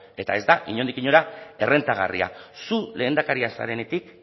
eta ez da inondik inora errentagarria zu lehendakaria zarenetik